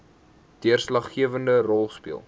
deurslaggewende rol speel